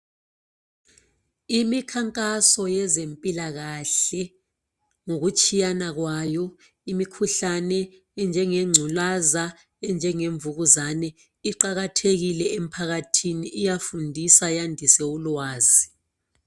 Imikhankaso yezempilakahle ngokutshiyana kwayo, imkhuhlane enjengenculaza enjenge mvukuzane iqakathekile emphakathini, iyafundisa yandise ulwazi.